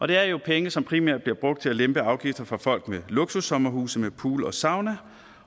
det er jo penge som primært bliver brugt til at lempe afgifter folk med luksussommerhuse med pool og sauna